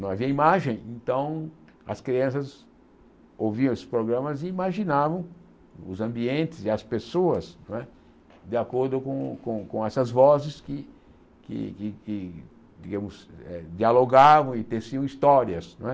Não havia imagem, então as crianças ouviam esses programas e imaginavam os ambientes e as pessoas não é de acordo com com com essas vozes que que dialogavam e teciam histórias não é.